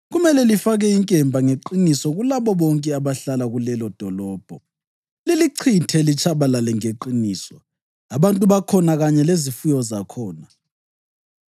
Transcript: kumele lifake inkemba ngeqiniso kulabo bonke abahlala kulelodolobho. Lilichithe litshabalale ngeqiniso, abantu bakhona kanye lezifuyo zakhona.